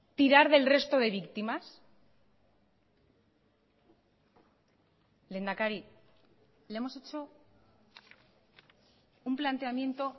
tirar del resto de víctimas lehendakari le hemos hecho un planteamiento